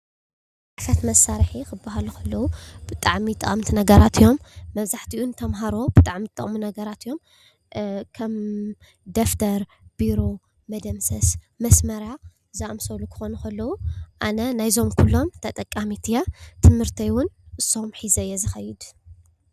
ፅሕፈት መሳርሒ ክበሃሉ ከለው ብጣዕሚ ጠቀምቲ ነገራት እዮም። መብዛሕትኡ ንተምሃሮ ብጣዕሚ ዝጠቅሙ ነገራት እዮ። ከም ደፍተር፣ ቢሮ፣ መደምሰስ፣ መስመርያ ዝኣመሰሉ ክኾኑ ከለው ኣነ ናይ እዞም ኹሎም ተጠቃሚት እየ ትምህርተይ እውን እሶም ሒዘ እየ ዝኸይድ።